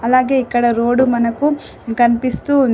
అలాగే ఇక్కడ రోడ్డు మనకు కనిపిస్తూ ఉంది.